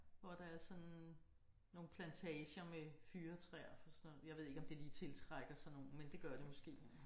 Hvor der er sådan nogle plantager med fyrretræer for sådan. Jeg ved ikke om det lige tiltrækker sådan nogen men det gør det måske